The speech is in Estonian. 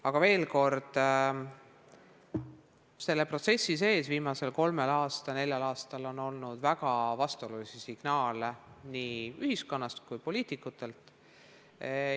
Aga veel kord: selle protsessi sees viimasel kolmel-neljal aastal on olnud väga vastuolulisi signaale nii ühiskonnast kui ka poliitikutelt.